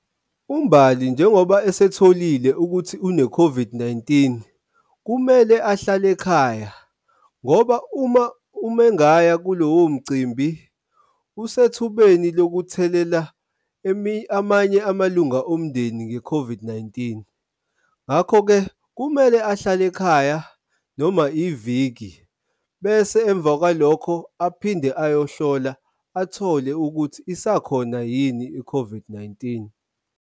Umbali, njengoba esetholile ukuthi une-COVID-19, kumele ahlale ekhaya ngoba uma umengaya kulowo mcimbi usethubeni lokuthelela amanye amalunga omndeni nge-COVID-19, ngakho-ke kumele ahlale ekhaya noma iviki bese emva kwalokho aphinde ayohlola athole ukuthi isakhona yini i-COVID-19.